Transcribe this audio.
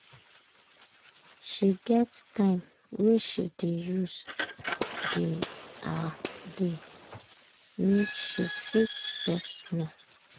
she get time wey she dey use dey her dey make she fit rest small.